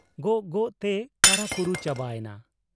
ᱜᱚᱜ ᱜᱚᱜ ᱛᱮᱭ ᱠᱟᱨᱟ ᱠᱩᱨᱩ ᱪᱟᱵᱟ ᱮᱱᱟ ᱾